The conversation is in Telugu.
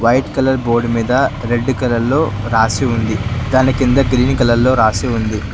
వైట్ కలర్ బోర్డు మీద రెడ్ కలర్ లో రాసి ఉంది దాని కింద గ్రీన్ కలర్ లో రాసి ఉంది.